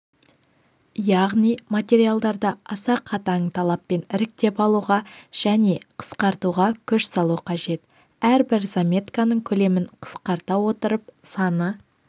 яғни материалдарды аса қатаң талаппен іріктеп алуға және қысқартуға күш салу қажет әрбір заметканың көлемін қысқарта отырып саны